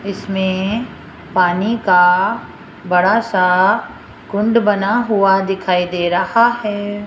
इसमें पानी का बड़ा सा कुंड बना हुआ दिखाई दे रहा है।